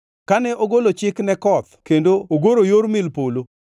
kane ogolo chik ne koth kendo ogoro yor mil polo,